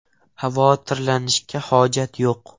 Xavotirlanishga hojat yo‘q.